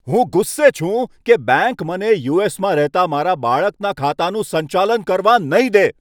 હું ગુસ્સે છું કે બેંક મને યુ.એસ.માં રહેતા મારા બાળકના ખાતાનું સંચાલન કરવા નહીં દે.